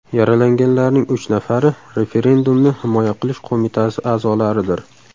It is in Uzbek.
Yaralanganlarning uch nafari Referendumni himoya qilish qo‘mitasi a’zolaridir.